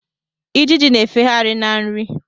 Ijiji na-efegharị na nri.